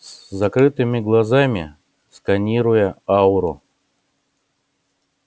с закрытыми глазами сканируя ауру